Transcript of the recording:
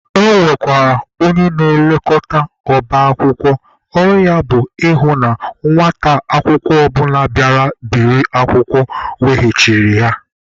E nwekwara onye na-elekọta ọba akwụkwọ, ọrụ ya bụ ịhụ na nwata akwụkwọ ọbụla bịara biri akwụkwọ weghachiri ya.